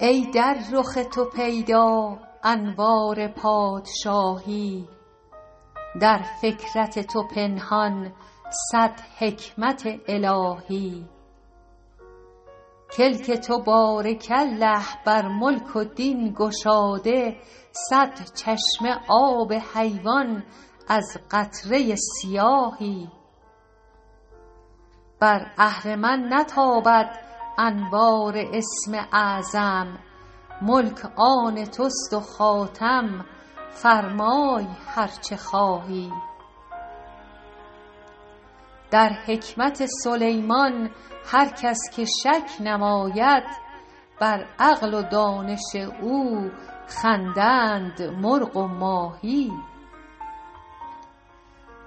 ای در رخ تو پیدا انوار پادشاهی در فکرت تو پنهان صد حکمت الهی کلک تو بارک الله بر ملک و دین گشاده صد چشمه آب حیوان از قطره سیاهی بر اهرمن نتابد انوار اسم اعظم ملک آن توست و خاتم فرمای هر چه خواهی در حکمت سلیمان هر کس که شک نماید بر عقل و دانش او خندند مرغ و ماهی